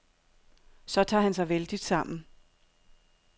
Så tager han sig vældigt sammen.